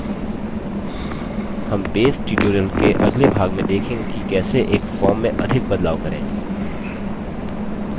हम base tutorial के अगले भाग में देखंगे कि कैसे एक form में अधिक बदलाव करें